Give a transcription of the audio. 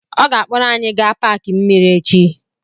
Ọ ga-akpọrọ anyị gaa paaki mmiri echi.